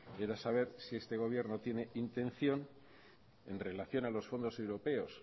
era saber si este gobierno tiene intención en relación a los fondos europeos